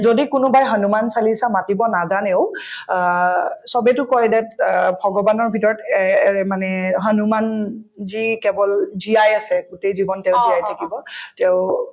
যদি কোনোবাই হনুমান চালিচা মাতিব নাজানেও অ চবেতো কই অ ভগৱানৰ ভিতৰত এএ মানে হনুমান ji কেৱল জীয়াই আছে গোটেই জীৱন তেওঁ জীয়াই থাকিব তেওঁ